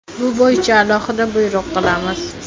Bu bo‘yicha alohida buyruq qilamiz.